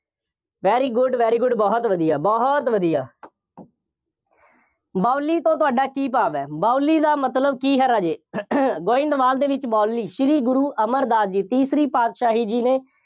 very good, very good ਬਹੁਤ ਵਧੀਆ, ਬਹੁਤ ਵਧੀਆ ਬਾਊਲੀ ਤੋਂ ਤੁਹਾਡਾ ਕੀ ਭਾਵ ਹੈ। ਬਾਊਲੀ ਦਾ ਮਤਲਬ ਕੀ ਹੈ ਰਾਜੇ, ਗੋਇੰਦਵਾਲ ਦੇ ਵਿੱਚ ਬਾਊਲੀ, ਸ਼੍ਰੀ ਗੁਰੂ ਅਮਰਦਾਸ ਜੀ, ਤੀਸਰੀ ਪਾਤਸ਼ਾਹੀ ਜੀ ਨੇ